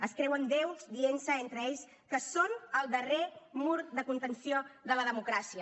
es creuen déus dient se entre ells que són el darrer mur de contenció de la democràcia